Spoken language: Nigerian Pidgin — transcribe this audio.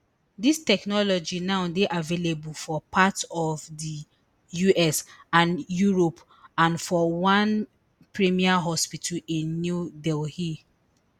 dis technology now dey available for parts of di us and europe and for one premier hospital in new delhi